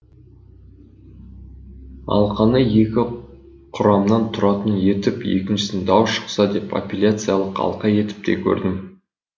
алқаны екі құрамнан тұратын етіп екіншісін дау шықса деп апелляциялық алқа етіп те көрдім